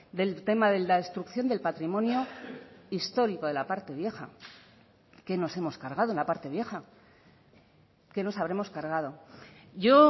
del tema de la destrucción del patrimonio histórico de la parte vieja qué nos hemos cargado en la parte vieja qué nos habremos cargado yo